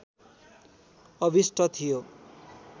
अभिष्ट थियो